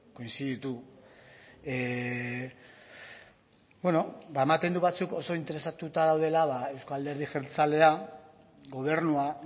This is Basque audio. koinziditu ba ematen du batzuk oso interesatuta daudela euzko alderdi jeltzalea gobernua